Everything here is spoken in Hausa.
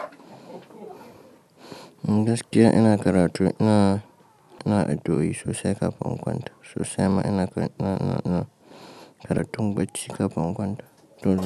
Gaskiya ina karatu ina, ina addoi sosai kafin in kwanta, sosai ma ina, ina, ina karatun bacci kafin in kwanta. To.